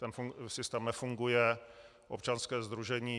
Ten systém nefunguje, občanské sdružení